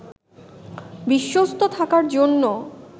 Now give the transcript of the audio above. বিশ্বস্ত থাকার জন্য